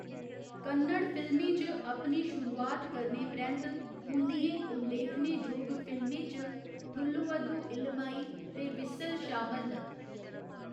कन्नड़ फिल्में च अपनी शुरुआत करने परैंत्त, उं'दियें उल्लेखनेजोग फिल्में च थुल्लुवाधो इलमाई ते व्हिसल शामल न।